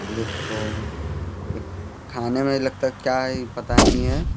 देख कौन एक खाने में लगता है क्या है इ पता नहीं हैं।